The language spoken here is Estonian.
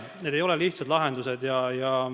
Siin ei ole lihtsaid lahendusi.